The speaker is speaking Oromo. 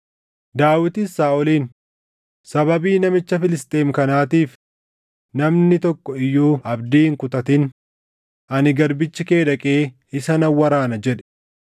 Daawitis Saaʼoliin, “Sababii namicha Filisxeem kanaatiif namni tokko iyyuu abdii hin kutatin; ani garbichi kee dhaqee isa nan waraana” jedhe.